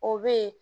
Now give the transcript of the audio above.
O bɛ yen